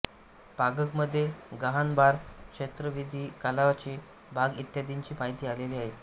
पागगमध्ये गाहानबार श्रौतविधी कालाचे भाग इत्यादींची माहिती आलेली आहे